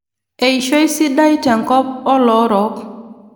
eishoi sidai te nkop oloorok.